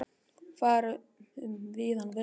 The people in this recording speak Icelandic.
Fara um víðan völl.